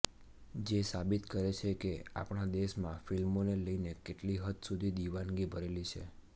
જે સાબિત કરે છે કે આપણા દેશમાં ફિલ્મોને લઈને કેટલી હદ સુધી દીવાનગી ભરેલી છે